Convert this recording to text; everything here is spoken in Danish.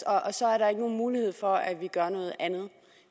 og så er der ikke nogen mulighed for at vi gør noget andet